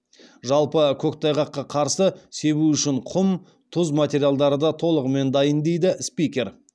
жалпы көктайғаққа қарсы себу үшін құм тұз материалдары да толығымен дайын дейді спикер